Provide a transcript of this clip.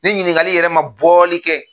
Ni ɲininkali yɛrɛ ma bɔli kɛ.